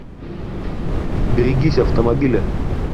берегись автомобиля